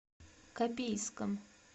копейском